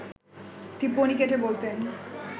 টিপ্পনী কেটে বলতেন